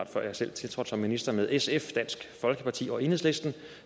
før jeg selv tiltrådte som minister med sf dansk folkeparti og enhedslisten